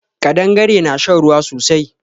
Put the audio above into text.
Ƙadangare na shan ruwa sosai